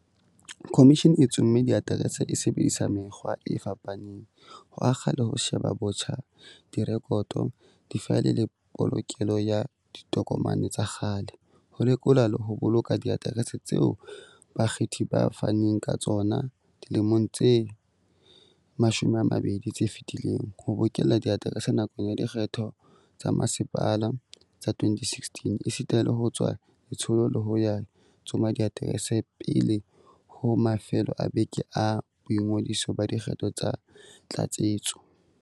Khomishene e tsomme diaterese e sebedisa mekgwa e fapa neng, ho akga le ho sheba botjha direkoto, difaele le polokelo ya ditokomane tsa kgale, ho lekola le ho boloka diaterese tseo bakgethi ba faneng ka tsona dilemong tse 20 tse fetileng, ho bokella diaterese nakong ya dikgetho tsa bomasepala tsa 2016, esita le ho tswa letsholo la ho ya tsoma diaterese pele ho mafelo a beke a boingodiso ba dikgetho tsa tlatsetso.